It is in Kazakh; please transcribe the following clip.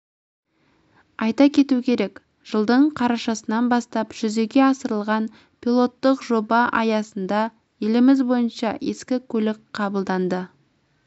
айта кету керек жылдың қарашасынан бастап жүзеге асырылған пилоттық жоба аясында еліміз бойынша ескі көлік қабылданды